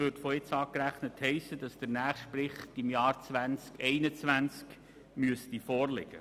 Von nun an gerechnet, müsste der nächste Bericht 2021 vorliegen.